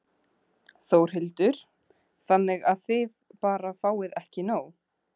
Þórhildur: Þannig að þið bara fáið ekki nóg?